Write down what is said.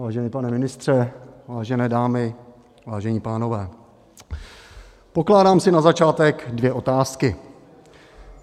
Vážený pane ministře, vážené dámy, vážení pánové, pokládám si na začátek dvě otázky.